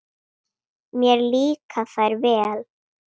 Mér líka þær vel.